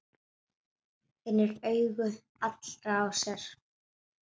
Finnur augu allra á sér.